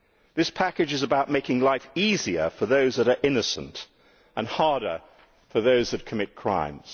This package is about making life easier for those who are innocent and harder for those who commit crimes.